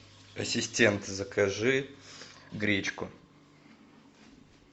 ассистент закажи гречку